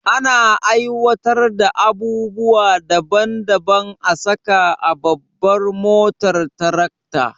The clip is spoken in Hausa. Ana aiwatar da abubuwa daban daban a saka a babban motar tarakta